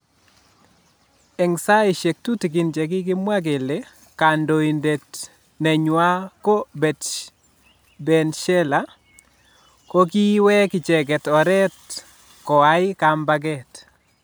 Eng saishek tutikin che kikimwa kele kandoindet nenywa ko Bensalah kokiwek icheket oret kwai kambaket.